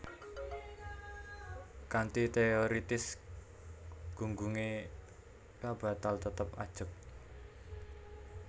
Kanthi teoritis gunggungé k bakal tetep ajeg